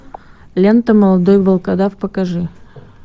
лента молодой волкодав покажи